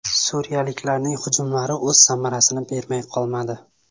Suriyaliklarning hujumlari o‘z samarasini bermay qolmadi.